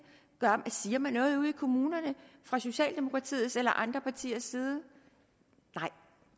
siger man noget ude i kommunerne fra socialdemokratiets eller andre partiers side nej